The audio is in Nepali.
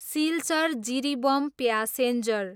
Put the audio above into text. सिल्चर, जिरिबम प्यासेन्जर